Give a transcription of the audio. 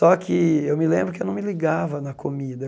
Só que eu me lembro que não me ligava na comida.